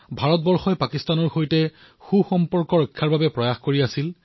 ভাৰতে তেতিয়া পাকিস্তানৰ সৈতে সুসম্পৰ্ক গঢ়িবলৈ প্ৰয়াসো কৰিছিল